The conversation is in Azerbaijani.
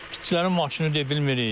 İşçilərin maşını deyə bilmirik.